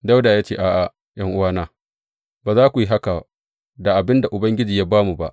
Dawuda ya ce, A’a, ’yan’uwana ba za ku yi haka da abin da Ubangiji ya ba mu ba.